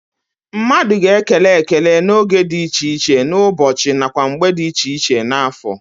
Mmadu ga-ekele ekele n'oge di iche iche n'ubochi nakwa mgbe di iche iche n'afo.